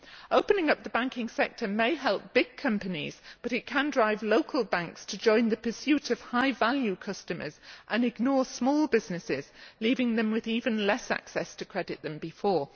Opening up the banking sector may help big companies, but it can drive local banks to join the pursuit of high value customers and ignore small businesses, leaving them with even less access to credit than before.